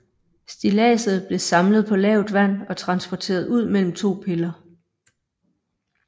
Stilladset blev samlet på lavt vand og transporteret ud mellem to piller